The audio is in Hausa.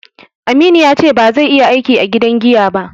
Aminu ya ce ba zai iya aiki a gidan giya ba